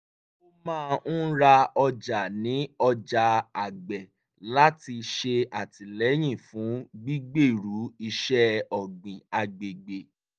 ó máa ń ra ọjà ní ọjà àgbẹ̀ láti ṣè àtìlẹ́yìn fún gbígbèrú iṣẹ́ ọ̀gbìn agbègbè